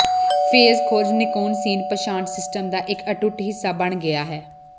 face ਖੋਜ Nikon scene ਪਛਾਣ system ਦਾ ਇੱਕ ਅਟੁੱਟ ਹਿੱਸਾ ਬਣ ਗਿਆ ਹੈ